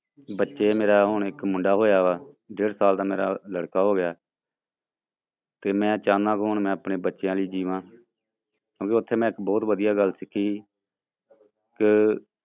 ਬੱਚੇ ਮੇਰਾ ਹੁਣ ਇੱਕ ਮੁੰਡਾ ਹੋਇਆ ਵਾ ਡੇਢ ਸਾਲ ਦਾ ਮੇਰਾ ਲੜਕਾ ਹੋ ਗਿਆ ਤੇ ਮੈਂ ਚਾਹੁਨਾ ਕਿ ਹੁਣ ਮੈਂ ਆਪਣੇ ਬੱਚਿਆਂ ਲਈ ਜੀਵਾਂ ਕਿਉਂਕਿ ਉੱਥੇ ਮੈਂ ਇੱਕ ਬਹੁਤ ਵਧੀਆ ਗੱਲ ਸਿੱਖੀ ਕਿ